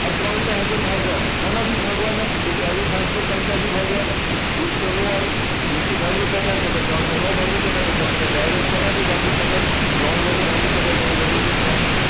આ ત્રણ ને હજે ભાગવા નાં કોના થી ભાગવા ના તો કે અવિભાજ્ય સંખ્યા થી ભાગવા ના એક તો નો આવે બે થી ભાગી સકાય તો કે ત્રણ ને નો ભાગી શકાય તો ત્રણ ને direct સેના થી ભાગી શકાય તો કે ત્રણ વડે ભાગી શકાય તો અહિયાં લખીશું ત્રણ